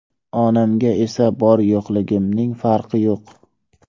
Onamga esa bor-yo‘qligimning farqi yo‘q.